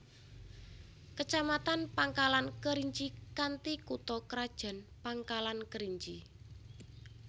Kecamatan Pangkalan Kerinci kanthi kutha krajan Pangkalan Kerinci